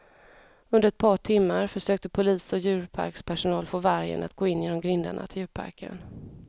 Under ett par timmar försökte polis och djurparkspersonal få vargen att gå in genom grindarna till djurparken.